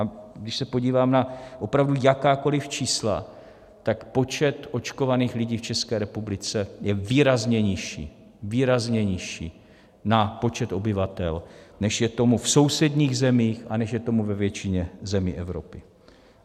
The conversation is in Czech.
A když se podívám na opravdu jakákoliv čísla, tak počet očkovaných lidí v České republice je výrazně nižší, výrazně nižší na počet obyvatel, než je tomu v sousedních zemích a než je tomu ve většině zemí Evropy.